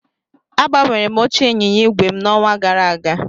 Agbanwere m oche ịnyịnya ígwè n'ọnwa gara aga